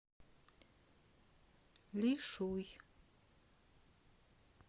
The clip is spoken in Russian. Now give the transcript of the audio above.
лишуй